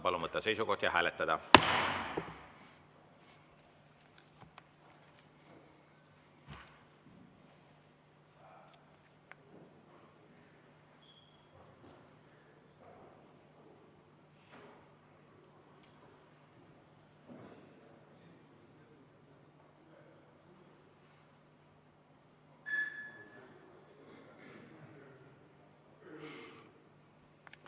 Palun võtta seisukoht ja hääletada!